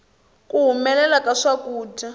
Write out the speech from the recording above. ku humelela ka swakudya